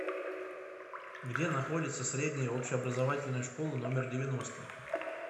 где находится средняя общеобразовательная школа номер девяносто